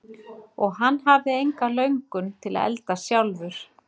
Og hann hafði enga löngun til að elda sjálfur.